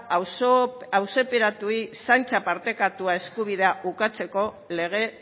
auziperatuei zaintza partekatua eskubidea ukatzeko lege